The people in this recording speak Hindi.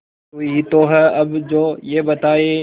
तू ही तो है अब जो ये बताए